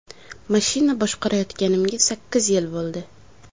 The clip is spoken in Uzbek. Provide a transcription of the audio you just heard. Mashina boshqarayotganimga sakkiz yil bo‘ldi.